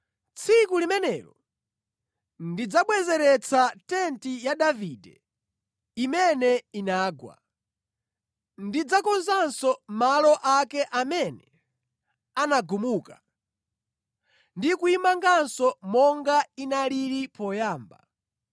“Tsiku limenelo ndidzabwezeretsa nyumba ya Davide imene inagwa. Ndidzakonzanso malo amene anagumuka, ndi kuyimanganso monga inalili poyamba,